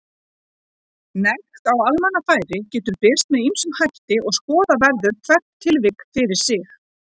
Nekt á almannafæri getur birst með ýmsum hætti og skoða verður hvert tilvik fyrir sig.